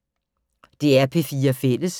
DR P4 Fælles